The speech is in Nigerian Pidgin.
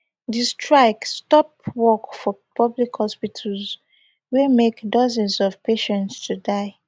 di strike stop work for public hospitals wey make dozens of patients to die